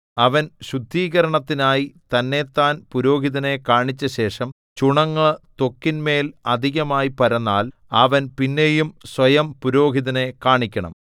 അവൻ ശുദ്ധീകരണത്തിനായി തന്നെത്താൻ പുരോഹിതനെ കാണിച്ചശേഷം ചുണങ്ങ് ത്വക്കിന്മേൽ അധികമായി പരന്നാൽ അവൻ പിന്നെയും സ്വയം പുരോഹിതനെ കാണിക്കണം